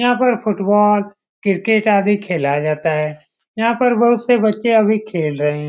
यहाँ पर football cricket आदि खेला जाता है यहाँ पर बहुत से बच्चे अभी खेल रहे हैं।